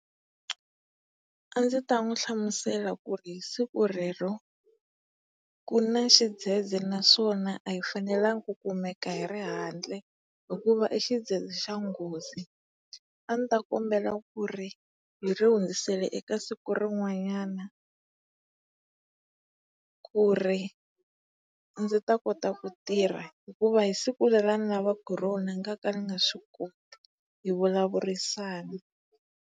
A ndzi ta n'wi hlamusela ku ri hi siku rero ku na xidzedze naswona a hi fanelanga ku kumeka hi ri handle hikuva i xidzedze xa nghozi. A ni ta kombela ku ri hi ri hundzisela eka siku rin'wanyana ku ri ndzi ta kota ku tirha hikuva hi siku leri a ni lavaka hi rona ni ngaka ni nga swi koti. Hi vulavurisana.